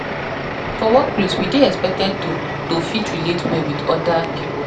For workplace we dey expected to to fit relate well with oda pipo